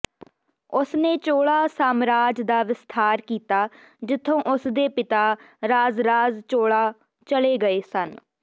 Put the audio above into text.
ਉਸਨੇ ਚੋਲਾ ਸਾਮਰਾਜ ਦਾ ਵਿਸਥਾਰ ਕੀਤਾ ਜਿੱਥੋਂ ਉਸਦੇ ਪਿਤਾ ਰਾਜਰਾਜ ਚੋਲਾ ਚਲੇ ਗਏ ਸਨ